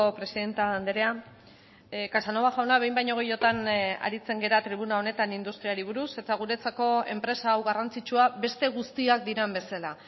presidente andrea casanova jauna behin baino gehiagotan aritzen gara tribuna honetan industriari buruz eta guretzako enpresa hau garrantzitsua beste guztiak diren bezala